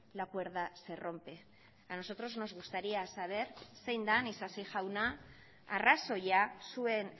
la cuerda se rompe a nosotros nos gustaría saber zein den isasi jauna arrazoia zuen